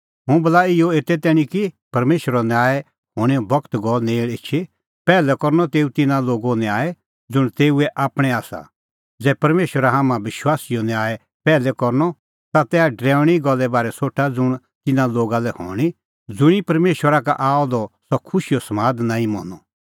हुंह बोला इहअ एते तैणीं कि परमेशरो न्याय हणैंओ बगत गअ नेल़ एछी पैहलै करनअ तेऊ तिन्नां लोगो न्याय ज़ुंण तेऊए आपणैं आसा ज़ै परमेशरा हाम्हां विश्वासीओ न्याय पैहलै करनअ ता तैहा डरैऊणीं गल्ले बारै सोठा ज़ुंण तिन्नां लोगा लै हणीं ज़ुंणी परमेशरा का आअ द सह खुशीओ समाद नांईं मनअ